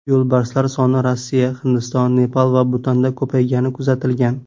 Yo‘lbarslar soni Rossiya, Hindiston, Nepal va Butanda ko‘paygani kuzatilgan.